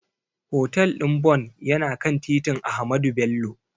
Hotel ɗin Bon yana kan titin Ahmadu Bello.